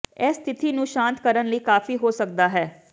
ਇਹ ਸਥਿਤੀ ਨੂੰ ਸ਼ਾਂਤ ਕਰਨ ਲਈ ਕਾਫੀ ਹੋ ਸਕਦਾ ਹੈ